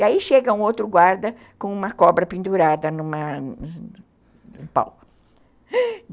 E aí chega um outro guarda com uma cobra pendurada em um , no pau,